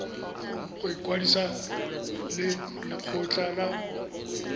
go ikwadisa le lekgotlha la